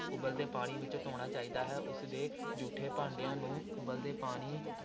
ਉਬਲਦੇ ਪਾਣੀ ਵਿੱਚ ਧੋਣਾ ਚਾਹੀਦਾ ਹੈ, ਉਸਦੇ ਜੂਠੇ ਭਾਂਡਿਆਂ ਨੂੰ ਉਬਲਦੇ ਪਾਣੀ